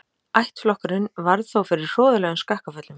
Ættflokkurinn varð þó fyrir hroðalegum skakkaföllum.